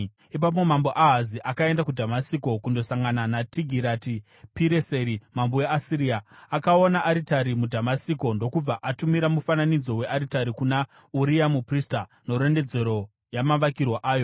Ipapo Mambo Ahazi akaenda kuDhamasiko kundosangana naTigirati-Pireseri mambo weAsiria. Akaona aritari muDhamasiko ndokubva atumira mufananidzo wearitari kuna Uria muprista, nerondedzero yamavakirwo ayo.